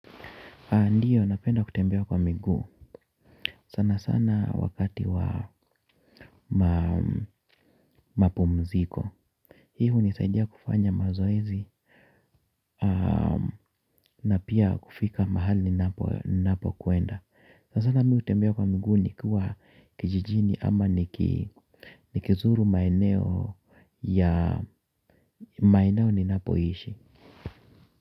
Ndio, napenda kutembea kwa miguu. Sana sana wakati wa mapumziko. Hii hunisaidia kufanya mazoezi na pia kufika mahali ninapo kwenda. Sana sana mi hutembea kwa migu nikuwa kijijini ama nikizuru maeneo ya maeneo ninapo ishi.